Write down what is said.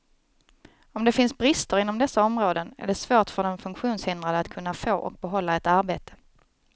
Om det finns brister inom dessa områden är det svårt för den funktionshindrade att kunna få och behålla ett arbete.